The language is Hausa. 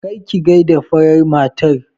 Kar ki gaida farar matar!